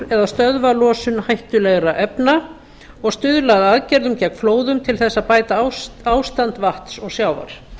eða stöðva losun hættulegra efna og stuðla að aðgerðum gegn flóðum til þess að bæta ástand vatns og sjávar